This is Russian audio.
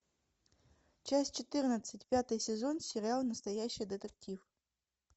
часть четырнадцать пятый сезон сериал настоящий детектив